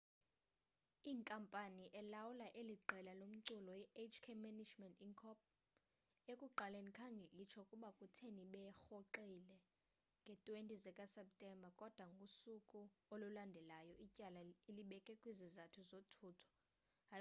inkampani elawula eli qela lomculo ihk management inc ekuqaleni khange itsho ukuba kutheni berhoxile ngee-20 zikaseptemba kodwa ngosuku olulandelayo ityala ilibeke kwizizathu zothutho